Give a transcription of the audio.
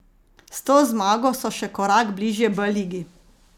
S to zmago so še korak bližje B ligi.